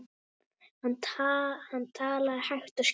Hann talaði hægt og skýrt.